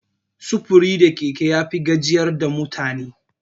Sufuri da keke yafi gajiyar da mutane.